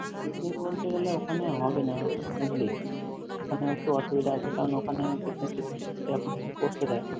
Picnic বলতে গেলে ওখানে হবে না, বুঝলি? ওখানে একটু অসুবিধা আছে কারণ, ওখানে picnic টিকনিক সেরকমভাবে করতে দেয় না।